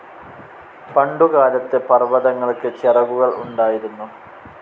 പണ്ടുകാലത്ത് പർവ്വതങ്ങൾക്ക് ചിറകുകൾ ഉണ്ടായിരുന്നു.